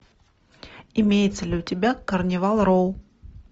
имеется ли у тебя карнивал роу